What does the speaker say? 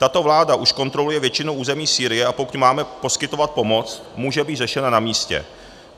Tato vláda už kontroluje většinu území Sýrie, a pokud máme poskytovat pomoc, může být řešena na místě.